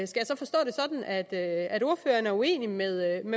ordføreren er uenig med